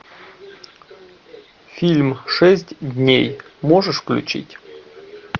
фильм шесть дней можешь включить